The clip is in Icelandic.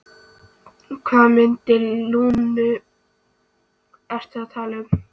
Hvaða myndir eftir Lúnu ertu að tala um?